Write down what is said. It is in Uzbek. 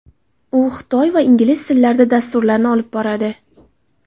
U xitoy va ingliz tillarida dasturlarni olib boradi.